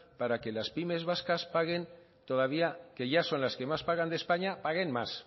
para que las pymes vascas paguen todavía que ya son las que más pagan de españa paguen más